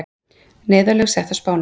Neyðarlög sett á Spáni